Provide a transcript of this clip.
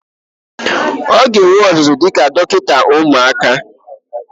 Ọ ga-enwe ọzụzụ dịka dọkịta ụmụaka.